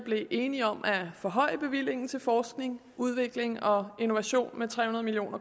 enige om at forhøje bevillingen til forskning udvikling og innovation med tre hundrede million